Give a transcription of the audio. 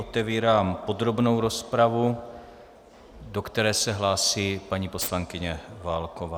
Otevírám podrobnou rozpravu, do které se hlásí paní poslankyně Válková.